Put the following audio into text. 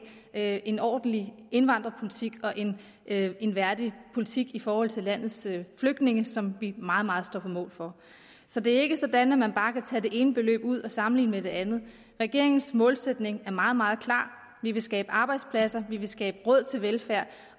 have en ordentlig indvandrerpolitik og en værdig politik i forhold til landets flygtninge som vi meget meget på mål for så det er ikke sådan at man bare kan tage det ene beløb ud og sammenligne det med det andet regeringens målsætning er meget meget klar vi vil skabe arbejdspladser vi vil skabe råd til velfærd